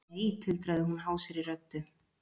Nei, tuldraði hún hásri röddu.